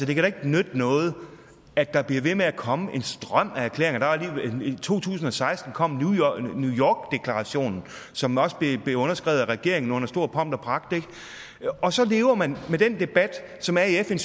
det kan da ikke nytte noget at der bliver ved med at komme en strøm af erklæringer i to tusind og seksten kom new york deklarationen som også blev underskrevet af regeringen under stor pomp og pragt ikke og så lever man med den debat som er i fn